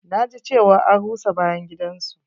Na ji cewa an rusa bayan gidan su.